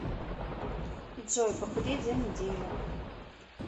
джой похудеть за неделю